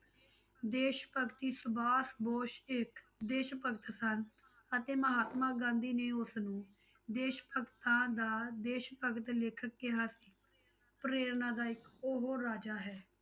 ਦੇਸ ਭਗਤੀ ਸੁਭਾਸ ਬੋਸ ਇੱਕ ਦੇਸ ਭਗਤ ਸਨ ਅਤੇ ਮਹਾਤਮਾ ਗਾਂਧੀ ਨੇ ਉਸਨੂੰ ਦੇਸ ਭਗਤਾਂ ਦਾ ਦੇਸ ਭਗਤ ਲਿਖ ਕਿਹਾ ਸੀ, ਪ੍ਰੇਰਨਾਦਾਇਕ ਉਹ ਰਾਜਾ ਹੈ।